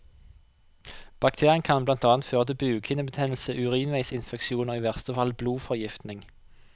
Bakterien kan blant annet føre til bukhinnebetennelse, urinveisinfeksjon og i verste fall blodforgiftning.